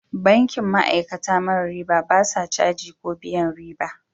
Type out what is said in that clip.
Bankin ma'aikata mara riba, ba sa caji ko biyan riba.